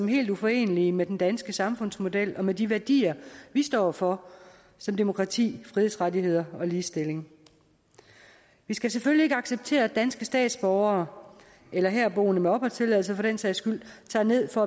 helt uforenelige med den danske samfundsmodel og med de værdier vi står for som demokrati frihedsrettigheder og ligestilling vi skal selvfølgelig ikke acceptere at danske statsborgere eller herboende med opholdstilladelse for den sags skyld tager ned for